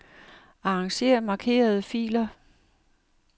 Arranger markerede filer.